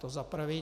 To za prvé.